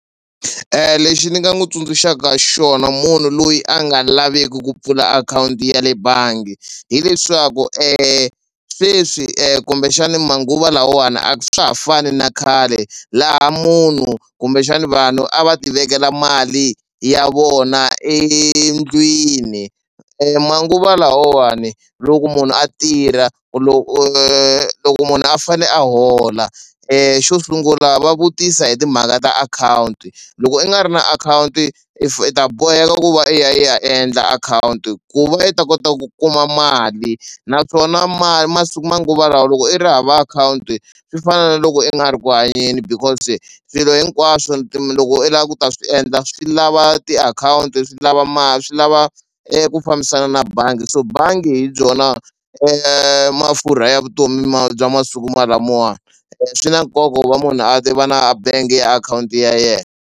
Lexi ni nga n'wu tsundzuxaka xona munhu loyi a nga laveku ku pfula akhawunti ya le bangi hileswaku sweswi kumbexani manguva lawawani a swa ha fani na khale laha munhu kumbexani vanhu a va ti vekela mali ya vona endlwini manguva lawawani loko munhu a tirha loko munhu a fane a hola xo sungula va vutisa hi timhaka ta akhawunti loko i nga ri na akhawunti i ta boheka ku va i ya i ya endla akhawunti ku va i ta kota ku kuma mali naswona mali manguva lawa loko i ri hava akhawunti swi fana na loko i nga ri ku hanyeni because swilo hinkwaswo loko i lava ku ta swi endla swi lava tiakhawunti swi lava swi lava eku fambisana na bangi so bangi hi byona mafurha ya vutomi bya masiku ma lamawani swi na nkoka ku va munhu a tiva na bank-i akhawunti ya yena.